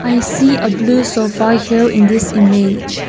i see a blue sofa here in this image.